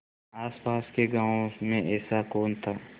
आसपास के गाँवों में ऐसा कौन था